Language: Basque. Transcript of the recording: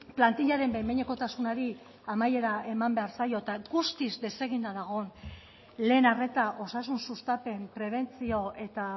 plantillaren behin behinekotasunari amaiera eman zaio eta guztiz deseginda dagoen lehen arreta osasun sustapen prebentzio eta